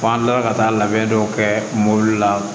An kilala ka taa labɛn dɔw kɛ mobili la